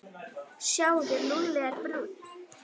Sjáðu, Lúlli er brúnn.